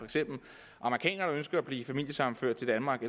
amerikaner der ønsker at blive familiesammenført til danmark